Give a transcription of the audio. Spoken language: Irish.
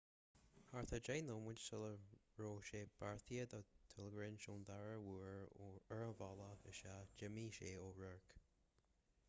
thart ar deich nóiméid sula raibh sé beartaithe dó tuirlingt ón dara uair ar a bhealach isteach d'imigh sé ó radharc